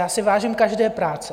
Já si vážím každé práce.